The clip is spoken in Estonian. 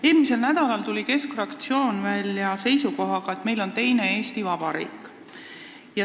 Eelmisel nädalal tuli Keskerakonna fraktsioon välja seisukohaga, et meil on teine Eesti Vabariik.